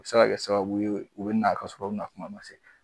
O bi se ka kɛ sababu u bina ka sɔrɔ u nakuma ma se